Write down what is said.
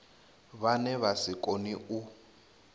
vhane vha si kone u